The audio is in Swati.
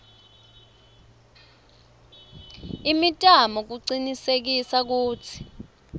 imitamo kucinisekisa kutsi